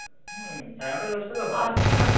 হম সাড়ে নটা দশটা তো হয়ই।